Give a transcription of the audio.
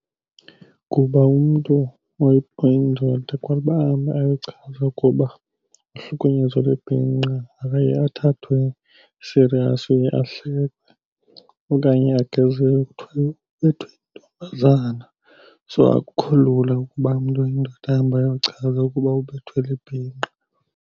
Kuba umntu oyindoda kwa uba ahambe ayochaza ukuba uhlukunyezwa libhinqa akaye athathwe serious, uye ahlekwe okanye agezelwe kuthiwa yho ubethwe yintombazana. So akukho lula ukuba umntu oyindoda ahambe ayochaza ukuba ubethwa libhinqa.